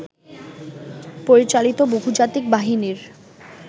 পরিচালিত বহুজাতিক বাহিনীর